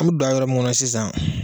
An bɛ don a yɔrɔ mun kɔnɔn sisan